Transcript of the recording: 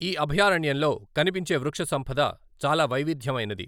ఈ అభయారణ్యంలో కనిపించే వృక్షసంపద చాలా వైవిధ్యమైనది.